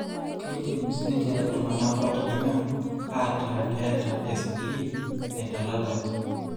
Keidim siininche iltung'anak ootijing'a aataa keeta espleen naitalalaki.